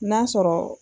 N'a sɔrɔ